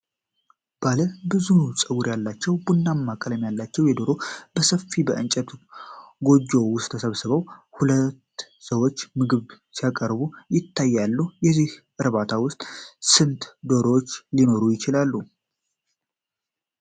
ባለ ብዙ ፀጉር ያላቸው፣ ቡናማ ቀለም ያላቸው ዶሮዎች በሰፊ የእንጨት ጎጆ ውስጥ ተሰብስበው፣ ሁለት ሰዎች ምግብ ሲያቀርቡ ይታያሉ። በዚህ እርባታ ውስጥ ስንት ዶሮዎች ሊኖሩ ይችላሉ?